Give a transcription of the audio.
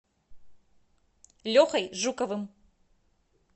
лехой жуковым